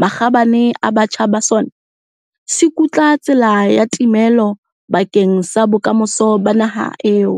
makgabane a batjha ba sona, se kutla tsela ya timelo bakeng sa bokamoso ba naha eo.